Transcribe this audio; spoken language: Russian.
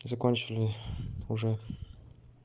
закончили уже